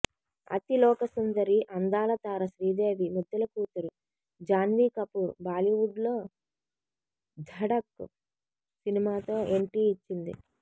అతిలోక సుందరి అందాల తార శ్రీదేవి ముద్దుల కూతురు జాన్వీ కపూర్ బాలీవుడ్ లో ధఢక్ సినిమాతో ఎంట్రీ ఇచ్చింది